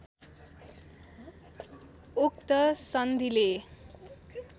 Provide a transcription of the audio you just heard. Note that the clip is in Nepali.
उक्त सन्धिले